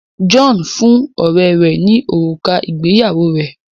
John fún ọrẹ rè ní òrùka ìgbéyàwó rẹ